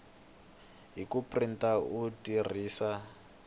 hi ku printa u tirhisa